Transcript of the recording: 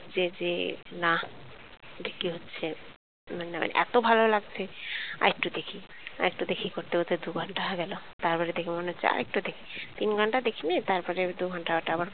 মনে হছে যে না দেখতে হছে না মানে এতো ভালো লাগজে আর একটু দেখি. আর একটু দেখি. করতে করতে দু ঘণ্টা হয়েগেল তারপরে দেখে মনে হচ্ছে র একটু দেখি তিন ঘণ্টা দেখেনিয়ে তারপরে দু ঘণ্টা আবার,